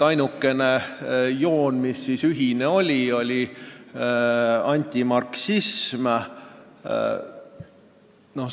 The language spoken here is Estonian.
Ainukene joon, mis ühine oli, oli antimarksism.